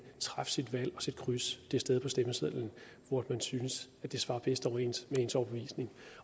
træffe sit valg og sætte kryds det sted på stemmesedlen hvor man synes det svarer bedst overens med ens overbevisning